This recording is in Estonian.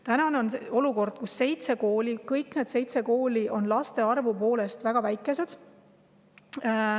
Täna on olukord selline, kus kõik need seitse kooli on laste arvu poolest väga väikesed.